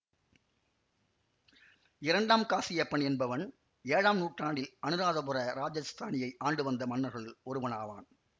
இரண்டாம் காசியப்பன் என்பவன் ஏழாம் நூற்றாண்டில் அனுராதபுர இராஜஸ்தானியை ஆண்டு வந்த மன்னர்களுள் ஒருவன் ஆவான்